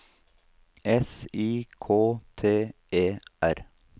S I K T E R